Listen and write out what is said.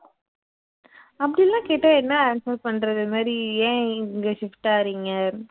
அப்படியெல்லாம் கேட்டா என்ன answer பண்ணுறது இது மாதிரி ஏன் இங்க shift ஆகுறிங்க